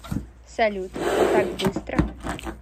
салют так быстро